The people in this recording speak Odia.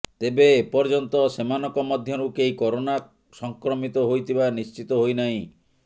ତେବେ ଏପର୍ଯ୍ୟନ୍ତ ସେମାନଙ୍କ ମଧ୍ୟରୁ କେହି କରୋନା ସଂକ୍ରମିତ ହୋଇଥିବା ନିଶ୍ଚିତ ହୋଇନାହିଁ